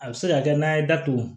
A bɛ se ka kɛ n'a ye datugu